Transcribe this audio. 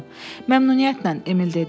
Məmnuniyyətlə, Emil dedi.